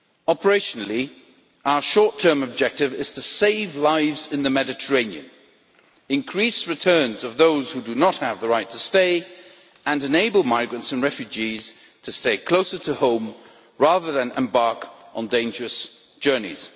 Operationally, our short term objective is to save lives in the Mediterranean, increase returns of those who do not have the right to stay, and enable migrants and refugees to stay closer to home rather than embark on dangerous journeys.